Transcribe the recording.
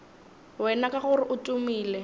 wena ka gore o tumile